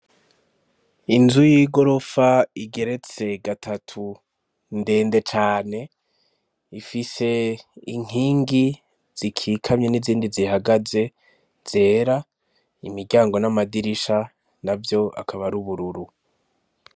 Inzu y'igorofa igeretse gatatu ndende cane ifise inkingi zikikamye n'izindi zihagaze zera, imiryango n'amadirisha navyo akaba ar'ubururu.